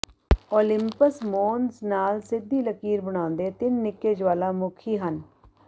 Olympus Mons ਨਾਲ ਸਿੱਧੀ ਲਕੀਰ ਬਣਾਉਂਦੇ ਤਿੰਨ ਨਿੱਕੇ ਜਵਾਲਾਮੁਖੀ ਹਨ